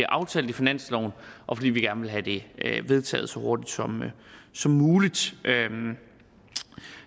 aftalt i finansloven og vi vil gerne have det vedtaget så hurtigt som som muligt